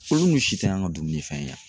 Olu si t'an ka dumunifɛn ye yan.